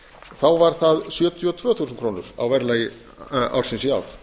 þá var það sjötíu og tvö þúsund krónur á verðlagi ársins í ár